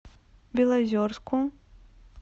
белозерску